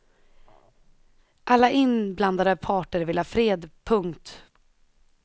Alla inblandade parter vill ha fred. punkt